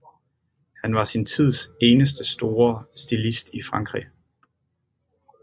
Han var sin tids eneste store stilist i Frankrig